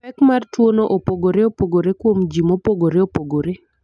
Pek mar tuwono opogore opogore kuom ji mopogore opogore.